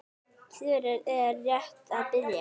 Fjörið er rétt að byrja.